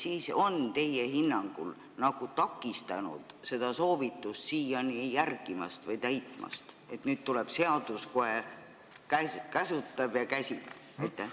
Mis on teie hinnangul takistanud seda soovitust siiani järgimast või täitmast, et nüüd tuleb seadus ning kohe käsutab ja käsib?